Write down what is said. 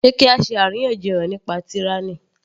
Sé kí á ṣe àríyànjiyàn nípa tyranny